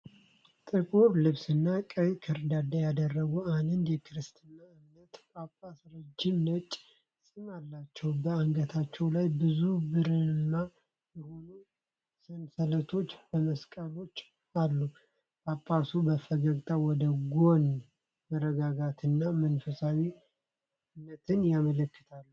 ጥቁር ልብስና ቀይ ከርዳዳ ያደረጉ አንድ የክርስትና እምነት ጳጳስ ረጅም ነጭ ፂም አላቸው። በአንገታቸው ላይ ብዙ ብርማ የሆኑ ሰንሰለቶችና መስቀሎች አሉ። ጳጳሱ በፈገግታ ወደ ጎን መረጋጋትንና መንፈሳዊነትን ያመለክታሉ።